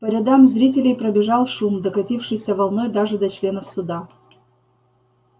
по рядам зрителей пробежал шум докатившийся волной даже до членов суда